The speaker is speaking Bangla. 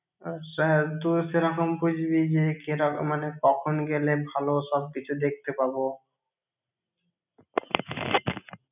আহ সে~ তুই সেরকম বুঝবি যে কেরকম মানে কখন গেলে ভালো সবকিছু দেখতে পাবো